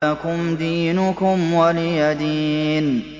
لَكُمْ دِينُكُمْ وَلِيَ دِينِ